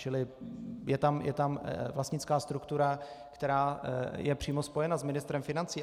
Čili je tam vlastnická struktura, která je přímo spojena s ministrem financí.